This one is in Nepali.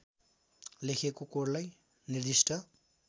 लेखेको कोडलाई निर्दिष्ट